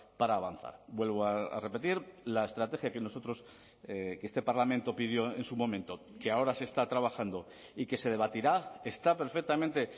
para avanzar vuelvo a repetir la estrategia que nosotros que este parlamento pidió en su momento que ahora se está trabajando y que se debatirá está perfectamente